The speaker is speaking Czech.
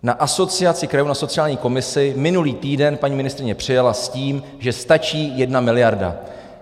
Na Asociaci krajů, na sociální komisi, minulý týden paní ministryně přijela s tím, že stačí jedna miliarda.